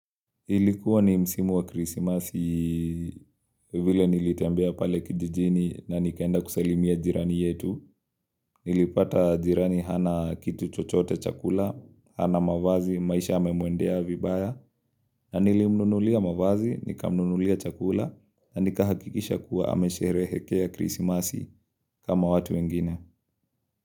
Ilikuwa ni msimu wa krisimasi vile nilitembea pale kijijini na nikaenda kusalimia jirani yetu. Nilipata jirani hana kitu chochote chakula, hana mavazi, maisha memuendea vibaya. Na nilimnunulia mavazi, nika mnunulia chakula, na nika hakikisha kuwa hamesherehekea krisimasi kama watu wengine.